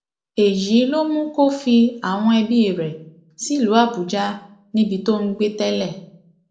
èyí ló mú kó fi àwọn ẹbí rẹ sílùú àbújá níbi tó ń gbé tẹlẹ